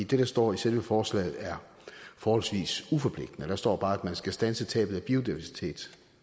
det der står i selve forslaget er forholdsvis uforpligtende der står bare at man skal standse tabet af biodiversitet